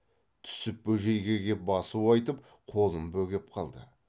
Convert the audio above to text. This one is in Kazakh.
түсіп бөжейге кеп басу айтып қолын бөгеп қалды